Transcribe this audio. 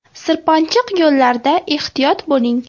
Sirpanchiq yo‘llarda ehtiyot bo‘ling!